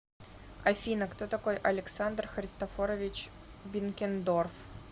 афина кто такой александр христофорович бенкендорф